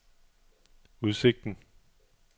udsigten